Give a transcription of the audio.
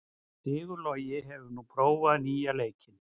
Sigurlogi, hefur þú prófað nýja leikinn?